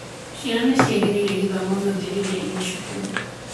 Ciana ciagĩrĩĩre gũthomo gĩothe rĩrĩa irĩ cukuru.